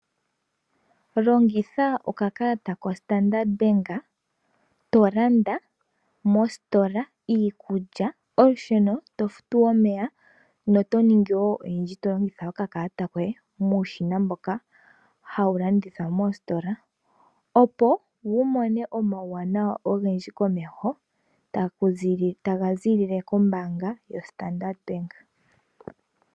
Longitha okakalata koStandard bank tolanda mositola iikulya, olusheno, tofutu omeya noto ningi wo oyindji tolongitha okakalata koye muushina mboka hawu longithwa moositola. Opo wumone omauwanawa ogendji komeho taga ziilile kombaanga yoStandard bank.